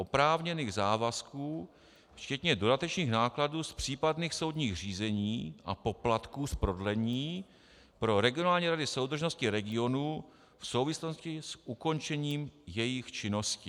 oprávněných závazků včetně dodatečných nákladů z případných soudních řízení a poplatků z prodlení pro regionální rady soudržnosti regionů v souvislosti s ukončením jejich činnosti.